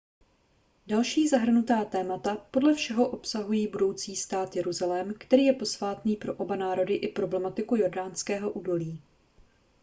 další zahrnutá témata podle všeho obsahují budoucí stát jeruzalém který je posvátný pro oba národy i problematiku jordánského údolí